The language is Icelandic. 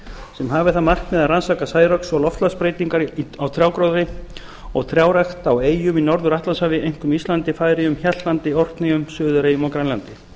sem hafi það markmið að rannsaka særoks og loftslagsbreytingar á trjágróðri og trjárækt á eyjum í norður atlantshafi einkum íslandi færeyjum hjaltlandi orkneyjum suðureyjum og grænlandi